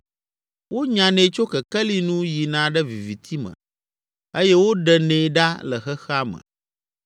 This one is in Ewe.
Wonyanɛ tso kekeli nu yina ɖe viviti me eye woɖenɛ ɖa le xexea me.